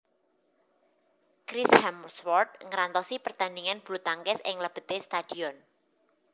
Chris Hemsworth ngrantosi pertandingan bulutangkis ing lebete stadion